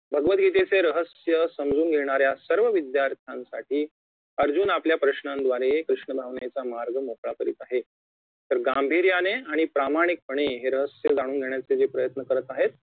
भगवतगीतेचे रहस्य समजून घेणाऱ्या सर्व विद्यार्थांसाठी अर्जुन आपल्या प्रश्नांद्वारे कृष्ण भावनेचा मार्ग मोकळा करीत आहेत तर गांभीर्याने आणि प्रामाणिकपणे हे रहस्य जाणून घेण्याचे जे प्रयन्त करत आहेत